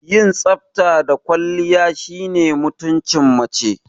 Yin tsafta da kwalliya shine mutumcin mace